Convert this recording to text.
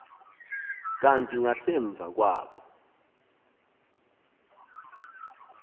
kanti ngasemva kwabo